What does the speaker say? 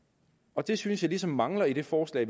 og det synes jeg ligesom mangler i det forslag